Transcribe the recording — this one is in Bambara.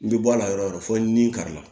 N bɛ bɔ a la yɔrɔ o yɔrɔ fo nin kari la